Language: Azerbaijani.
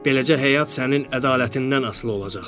Beləcə həyat sənin ədalətindən asılı olacaq.